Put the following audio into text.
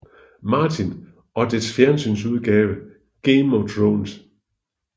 Martin og dets fjernsynsudgave Game of Thrones